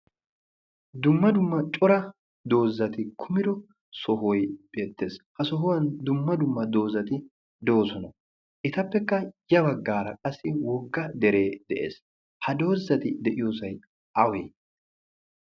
dumma dumma cora doox=zzati kuumido sohoy beettees. ha sohuwaan dumma dumma doozzati doosona. ettape ya baagaara qaassi wogga dere dees. ha doozzati de'iyoosay awee?